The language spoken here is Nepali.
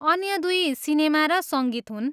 अन्य दुई सिनेमा र सङ्गीत हुन्।